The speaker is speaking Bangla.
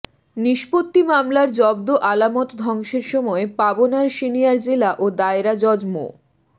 নিষ্পত্তি মামলার জব্দ আলামত ধ্বংসের সময় পাবনার সিনিয়র জেলা ও দায়রা জজ মো